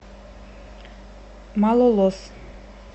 малолос